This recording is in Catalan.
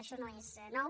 això no és nou